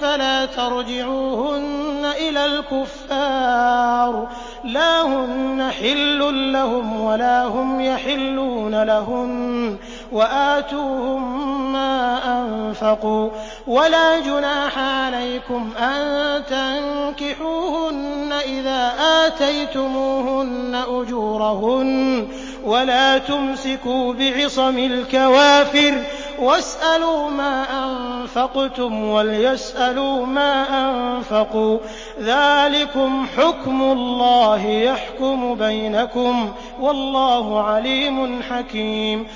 فَلَا تَرْجِعُوهُنَّ إِلَى الْكُفَّارِ ۖ لَا هُنَّ حِلٌّ لَّهُمْ وَلَا هُمْ يَحِلُّونَ لَهُنَّ ۖ وَآتُوهُم مَّا أَنفَقُوا ۚ وَلَا جُنَاحَ عَلَيْكُمْ أَن تَنكِحُوهُنَّ إِذَا آتَيْتُمُوهُنَّ أُجُورَهُنَّ ۚ وَلَا تُمْسِكُوا بِعِصَمِ الْكَوَافِرِ وَاسْأَلُوا مَا أَنفَقْتُمْ وَلْيَسْأَلُوا مَا أَنفَقُوا ۚ ذَٰلِكُمْ حُكْمُ اللَّهِ ۖ يَحْكُمُ بَيْنَكُمْ ۚ وَاللَّهُ عَلِيمٌ حَكِيمٌ